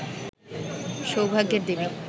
সৌভাগ্যের দেবী